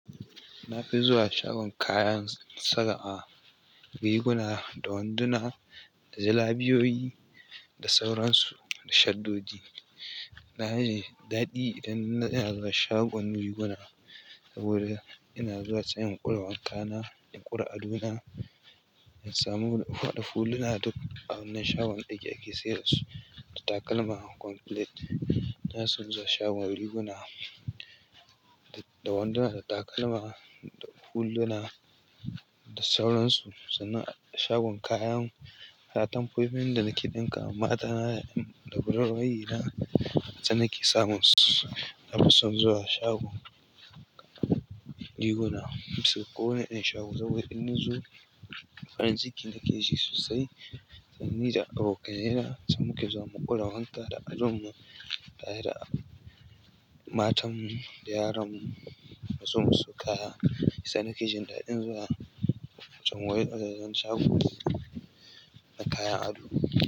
Na fi zuwa shagon kayan saka a riguna da wanduna, da zilabiyoyi da sauransu da shaddoji. Na yi daɗi idan ina zuwa shagon riguna saboda ina zuwa sai in ƙure wanka na, in ƙure ado na, in samu faɗafuluna duk abun nan shagon ɗaki ake sayar da su, da takalma complete. Na fi son zuwa shagon riguna da wanduna, da takalma, da huluna da sauransu. Sana a shagon kayan, da atumfofin da nake ɗinkawa matana da gular waye na, sannan ke samun su. Na fi son zuwa shagon riguna. Kusan kowane ɗan shago saboda in na zo, farin ciki nake ji sosai. Sannan ni da abokanai na zamu ke zuwa mu ƙure wanka da adon mu tare da matanmu da yaranmu siyo musu kaya sai nake jin daɗin zuwa can wajajen shago na kayan ado.